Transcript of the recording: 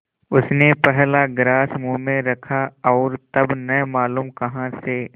उसने पहला ग्रास मुँह में रखा और तब न मालूम कहाँ से